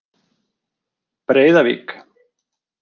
Breiðavík